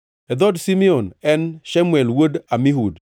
e dhood Simeon, en Shemuel wuod Amihud;